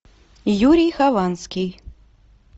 юрий хованский